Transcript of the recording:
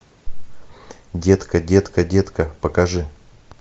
детка детка детка покажи